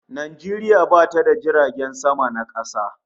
Najeriya bata da jiragen sama na kasa